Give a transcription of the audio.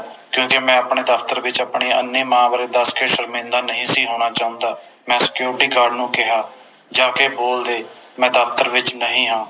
ਕਿਉਕਿ ਮੈਂ ਆਪਣੇ ਦਫਤਰ ਵਿਚ ਆਪਣੀ ਅੰਨ੍ਹੀ ਮਾਂ ਬਾਰੇ ਦਸ ਕੇ ਸ਼ਰਮਿੰਦਾ ਨਹੀਂ ਸੀ ਹੋਣਾ ਚਾਹੁੰਦਾ ਮੈਂ Security Guard ਨੂੰ ਕਿਹਾ ਜਾਕੇ ਬੋਲ ਦੇ ਮੈਂ ਦਫਤਰ ਵਿਚ ਨਹੀਂ ਹਾਂ